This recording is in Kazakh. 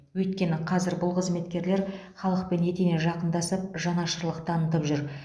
өйткені қазір бұл қызметкерлер халықпен етене жақындасып жанашырлық танытып жүр